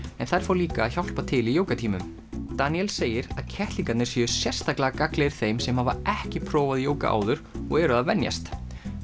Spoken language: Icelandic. en þær fá líka að hjálpa til í Danielle segir að kettlingarnir séu sérstaklega gagnlegir þeim sem hafa ekki prófað jóga áður og eru að venjast